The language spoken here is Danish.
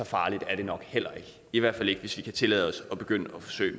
farligt er det nok heller ikke i hvert fald ikke hvis vi kan tillade os at begynde at forsøge